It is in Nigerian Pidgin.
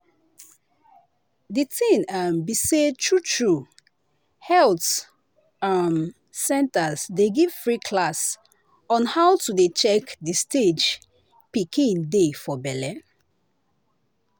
the thing um be say true true health um centers dey give free class on how to dey check the stage pikin dey for belle.